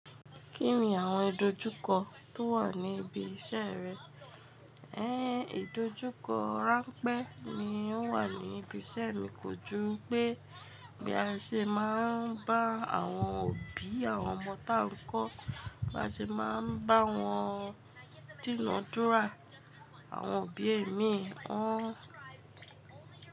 Kín ni àwon ìdojúkọ tó wà níbi iṣẹ́ rẹ? Én, ìdojúkọ ránpẹ́ ni ó wà ní ibi iṣẹ́ mi, kò ju pé bí a ṣe máa ń bá àwọn òbí àwọn ọmọ táà ń kọ́, bí a ṣe máa ń bá wọn dìná dúrà. Àwọn òbí imí wọn.